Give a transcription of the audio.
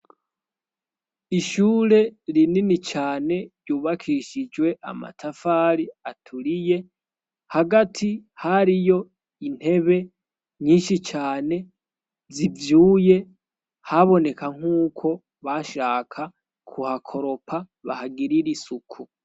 Ishure rinini cane yubakishijwe amatafari aturiye hagati hariyo intebe nyinshi cane zivyuye haboneka nk'uko bashaka ku hakoropa bahagirire isuku.